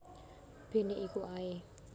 Bene iku ae